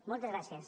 moltes gràcies